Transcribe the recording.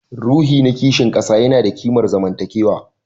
Ruhi na kishin kasa yana da kimar zamantakewa